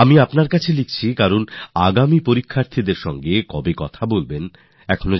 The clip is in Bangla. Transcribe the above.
আমি এইজন্য আপনাকে লিখছি কারণ আপনি আমাদের এখনও এটা বলেননি যে পরের পরীক্ষা নিয়ে আলোচনা কবে হবে